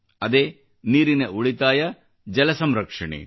ಅದೇ ನೀರಿನ ಉಳಿತಾಯ ಜಲ ಸಂರಕ್ಷಣೆ